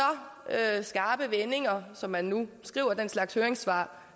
skarpe vendinger som man nu skriver den slags høringssvar